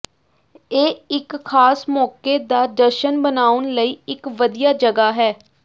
ਇਹ ਇੱਕ ਖਾਸ ਮੌਕੇ ਦਾ ਜਸ਼ਨ ਮਨਾਉਣ ਲਈ ਇੱਕ ਵਧੀਆ ਜਗ੍ਹਾ ਹੈ